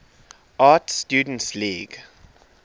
art students league